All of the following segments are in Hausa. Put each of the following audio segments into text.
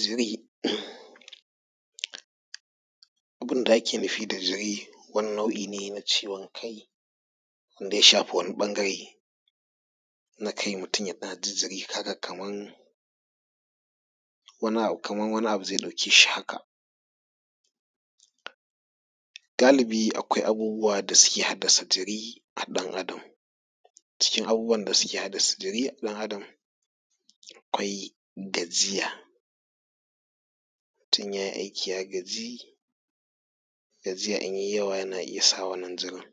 Jiri, abunda ake nufi da jiri wani nau'i ne na ciwon kai wanda ya shafi wani ɓangare na kai mutum yana ji jiri haka kaman wani abu kaman wani abu zai ɗauke shi haka. Galibi akwai abubuwa da suke haddasa jiri a ɗan Adam, cikin abubuwan da suke haddasa jiri ga ɗan Adam akwai gajiya. Idan mutum ya yi aiki ya gaji gajiya idan ya yi yawa yana sa wannan jirin.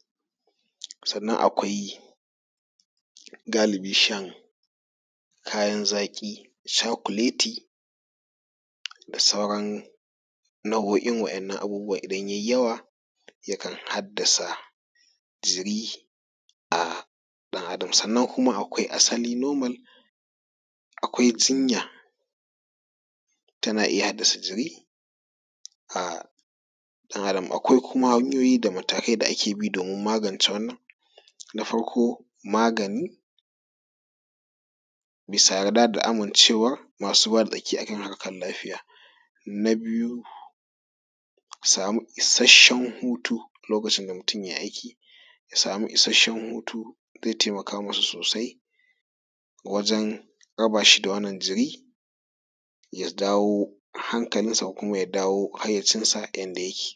Sannan akwai galibi shan kayan zaƙi kamar cakuleti da sauaran nau'o'in waɗannan abubuwan idan ya yi yawa yakan haddasa jiri a ɗan Adam. Sannan akwai asali normal akwai jinya tana iya haddasa jiri a ɗan Adam. Akwai kuma hanyoyi da matakai da ake bi domin magance wannan na farko magani bisa yarda da amincewar masu ruwa da tsaki a kan harkar lafiya. Na biyu ka samu isasshen hutu, a lokacin da mutum ya yi aiki ya samu isasshen hutu zai taimaka musu sosai wajen raba shi da wannan jiri ya dawo hankalinsa ko kuma ya dawo hayyacinsa yadda yake.